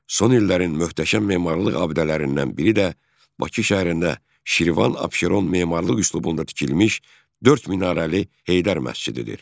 Son illərin möhtəşəm memarlıq abidələrindən biri də Bakı şəhərində Şirvan Abşeron memarlıq üslubunda tikilmiş dörd minarəli Heydər məscididir.